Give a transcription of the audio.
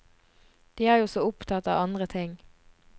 De er jo så opptatt av andre ting.